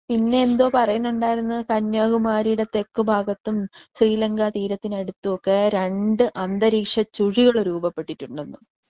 പിന്നെ എന്തോ പറയുന്നുണ്ടായിരുന്നു കന്യാകുമാരിയുടെ തെക്കുഭാഗത്തും ശ്രീലങ്ക തീരത്തിനടുത്തുമൊക്കെ രണ്ട് അന്തരീക്ഷ ചുഴികള് രൂപപ്പെട്ടിട്ടുണ്ടെന്ന്.